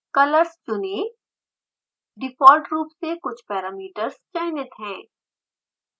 colors चुनें default रूप से कुछ पैरामीटर्स चयनित हैं